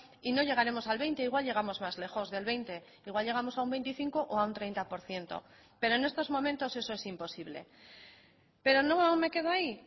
y no llegaremos al veinte igual llegamos más lejos del veinte igual llegamos a un veinticinco o a un treinta por ciento pero en estos momentos eso es imposible pero no me quedo ahí